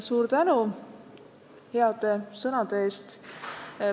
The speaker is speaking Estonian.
Suur tänu heade sõnade eest!